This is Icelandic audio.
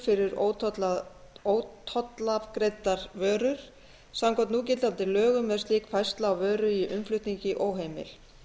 fyrir ótollafgreiddar vörur samkvæmt núgildandi lögum er slík færsla á vöru í umflutningi óheimil